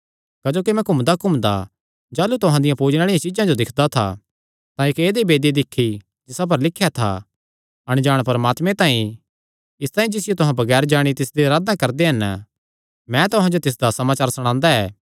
क्जोकि मैं घूमदाघूमदा जाह़लू तुहां दियां पूजणे आल़िआं चीज्जां जो दिक्खदा था तां इक्क ऐदई वेदी दिक्खी जिसा पर लिख्या था अणजाण परमात्मे तांई इसतांई जिसियो तुहां बगैर जाणे तिसदी अराधना करदे हन मैं तुहां जो तिसदा समाचार सणांदा ऐ